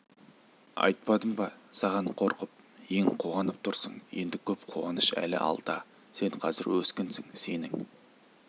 айтпадым ба саған қорқып ең қуанып тұрсың енді көп қуаныш әлі алда сен қазір өскінсің сенің